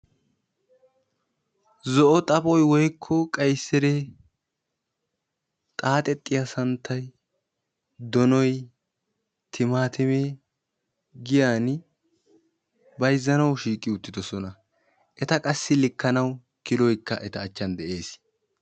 Zo'o xaphoy woykko qayisire, xaaxettiya santtay, donoy, timaatimee, giyan bayizzanawu shiiqi uttidosona; eta qassi likkanawu kiloyikka eta achan de'ees.